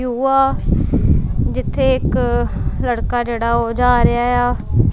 ਜਿੱਥੇ ਇੱਕ ਲੜਕਾ ਜਿਹੜਾ ਉਹ ਜਾ ਰਿਹਾ ਆ।